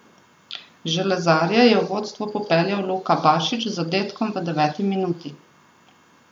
Železarje je v vodstvo popeljal Luka Bašič z zadetkom v deveti minuti.